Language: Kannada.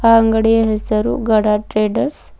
ಆ ಅಂಗಡಿಯ ಹೆಸರು ಗಡ ಟ್ರೇಡರ್ಸ್ .